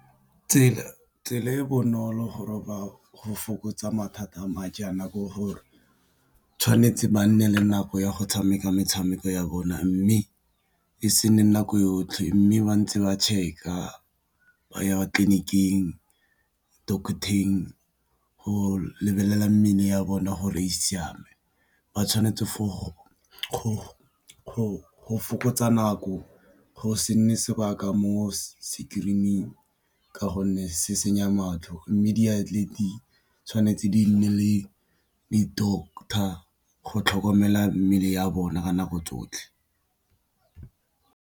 Tsela e e bonolo go fokotsa mathata a ma jaana ke gore tshwanetse ba nne le nako ya go tshameka metshameko ya bona, mme e se nne nako yotlhe mme ba ntse ba check-a ba ya tleliniking, doctor-teng go lebelela mmele ya bone gore e siame. Ba tshwanetse go fokotsa nako go se nne sebaka mo sekerining ka gonne se senya matlho, mme diatlelete tshwanetse di nne le di-doctor go tlhokomela mmele ya bona ka nako tsotlhe.